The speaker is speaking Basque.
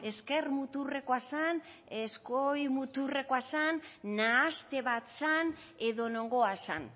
ezker muturrekoa zen eskuin muturrekoa zen nahaste bat zen edo nongoa zen